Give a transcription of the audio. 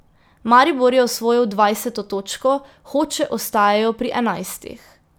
Maribor je osvojil dvajseto točko, Hoče ostajajo pri enajstih.